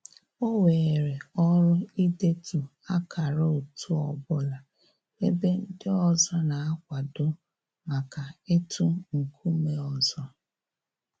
O weere ọrụ idetu akara otu ọbụla ebe ndị ọzọ na-akwado maka ịtụ nkume ọzọ